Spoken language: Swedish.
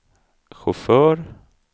chaufför